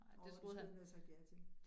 Åh det skulle han have sagt ja til